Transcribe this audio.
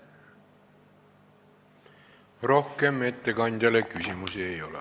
Rohkem ettekandjale küsimusi ei ole.